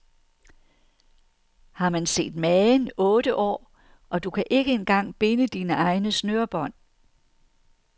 Har man set magen, otte år, og du kan ikke engang binde dine egne snørebånd.